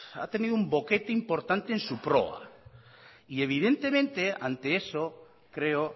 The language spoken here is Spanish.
ha tenido un boquete importante en su proa y evidentemente ante eso creo